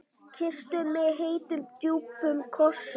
Kyssti mig heitum, djúpum kossi.